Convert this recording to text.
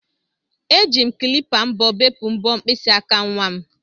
Eji m klipa mbọ bepụ mbọ mkpịsị aka nwa m